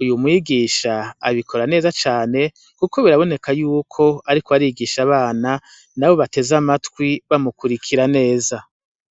Uyu mwigisha abikora neza cane, kuko biraboneka y'uko ariko arigisha abana, nabo bateze amatwi bamukurikira neza.